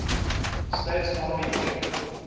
states army air